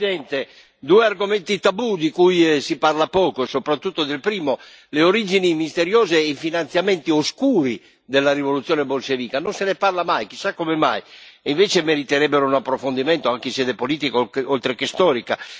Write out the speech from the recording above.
Signor Presidente, onorevoli colleghi, due argomenti tabù di cui si parla poco, soprattutto del primo le origini misteriose e i finanziamenti oscuri della rivoluzione bolscevica. Non se ne parla mai, chissà come mai, e invece meriterebbero un approfondimento anche in sede politica oltre che storica.